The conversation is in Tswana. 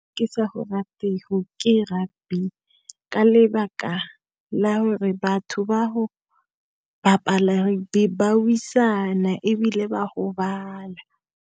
Ke sa go ratego ke rugby, ka lebaka la gore batho ba ho bapala rugby, ba wisana, ebile ba gobala.